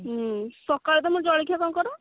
ହଁ ସକାଳୁ ତମର ଜଳଖିଆ କଣ କର